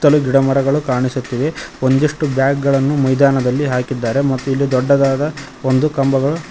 ಸುತ್ತಲು ಗಿಡ ಮರಗಳು ಕಾಣಿಸುತ್ತಿವೆ ಒಂದಿಷ್ಟು ಬ್ಯಾಗ್ ಗಳನ್ನು ಮೈದಾನದಲ್ಲಿ ಹಾಕಿದ್ದಾರೆ ಮತ್ತು ಇಲ್ಲಿ ದೊಡ್ಡದಾದ ಒಂದು ಕಂಬಗಳು--